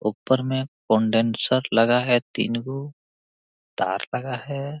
ऊपर में कंडेंसर लगा है तीन गो तार लगा है।